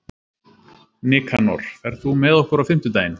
Nikanor, ferð þú með okkur á fimmtudaginn?